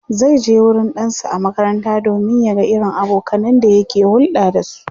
zaije wurin ɗansa a makaranta domin ya ga irin abokanan da yake hulɗa da su